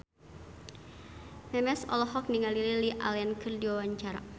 Memes olohok ningali Lily Allen keur diwawancara